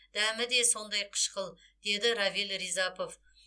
дәмі де сондай қышқыл дейді равиль ризапов